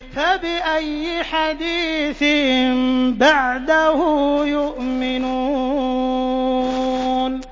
فَبِأَيِّ حَدِيثٍ بَعْدَهُ يُؤْمِنُونَ